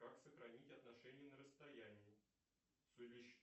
как сохранить отношения на расстоянии